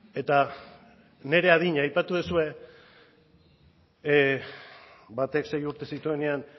eta nire adina aipatu duzue batek sei urte zituenean